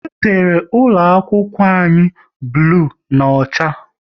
E tere ụlọ akwụkwọ anyị bloo na ocha